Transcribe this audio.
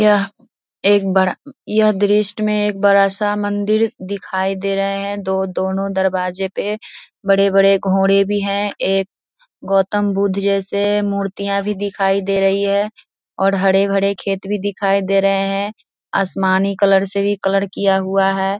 यह एक बड़ा यह दृश्य में बड़ा सा मंदिर दिखाई दे रहा है। दो दोनो दरवाजे पे बड़े-बड़े घोड़े भी है। एक गौतमबुद्ध जैसे भी मुरिया दिखाई दे रही है और हरे-भरे खेत भी दिखाई दे रहे है। आसमानी कलर से कलर किया हुआ है।